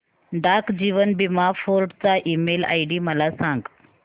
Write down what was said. डाक जीवन बीमा फोर्ट चा ईमेल आयडी मला सांग